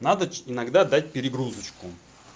надо иногда дать перегрузочку